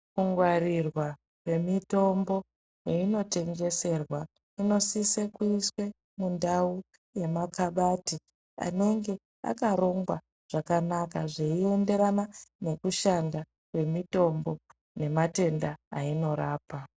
Ku ngwarirwa kwe mitombo kweino tengeserwa inosise kuiswe mundau ye makabati anenge akarongwa zvakanaka zvei enderana neku shanda kwe mitombo ne matenda ayino rapa.